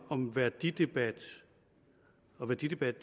om værdidebat og værdidebat